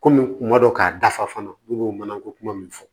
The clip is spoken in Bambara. Kɔmi kuma dɔ k'a dafa fana ne b'o mana ko kuma min fɔ